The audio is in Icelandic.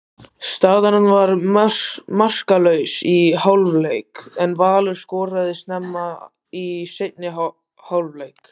Staðan var markalaus í hálfleik en Valur skoraði snemma í seinni hálfleik.